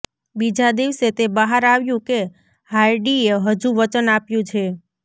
બીજા દિવસે તે બહાર આવ્યું કે હાર્ડીએ હજુ વચન આપ્યું છે